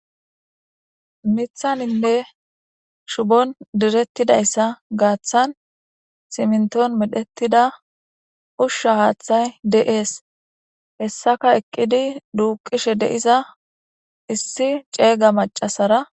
mithaninne shubon direttidayssa gaaththan siminton medhettida ushsha haaththay deees hessaka eqqidi duuqishe deiza issi ceega macasara